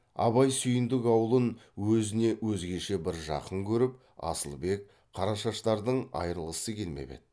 абай сүйіндік аулын өзіне өзгеше бір жақын көріп асылбек қарашаштардың айрылғысы келмеп еді